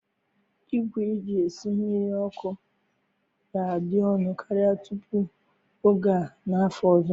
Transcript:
Igwe eji esi mmiri ọkụ ga-adị ọnụ karịa tupu oge a n'afọ ọzọ.